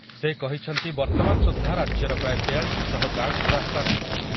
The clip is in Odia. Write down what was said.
ସେ କହିଛନ୍ତି ବର୍ତମାନ ସୁଦ୍ଧା ରାଜ୍ୟର ପ୍ରାୟ ତେୟାଳିଶୀ ଶହ ଗାଁକୁ ରାସ୍ତା ନାହିଁ ।